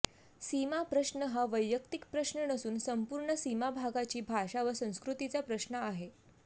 सीमाप्रश्न हा वैयक्तिक प्रश्न नसून संपूर्ण सीमाभागाची भाषा व संस्कृतीचा प्रश्न आहे